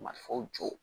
Marifaw jɔ